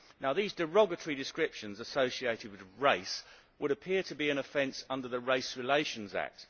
These derogatory descriptions associated with race would appear to be an offence under the Race Relations Act.